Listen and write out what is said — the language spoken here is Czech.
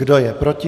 Kdo je proti?